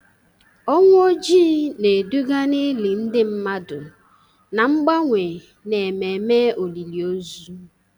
Ọnwụ Ojii na-eduga n'ili ndị mmadụ na mgbanwe n'ememe olili ozu.